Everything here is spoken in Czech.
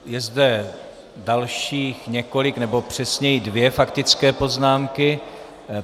Je zde dalších několik, nebo přesněji dvě faktické poznámky.